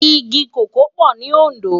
Igi kókòó pò ni Ondo